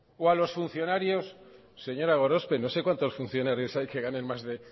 o a los funcionarios señora gorospe no sé cuantos funcionarios hay que ganen más de